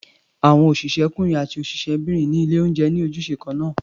Àwọn òṣìṣẹ́kúnrin àti òṣìṣẹ́bìnrin ní ilé-oúnjẹ ní ojúṣe kan náà.